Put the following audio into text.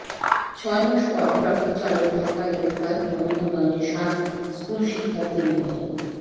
ছয় মাস পর ট্রাকের চালক ঢাকায় গ্রেপ্তার মনোহরগঞ্জে সাত স্কুল শিক্ষার্থী নিহত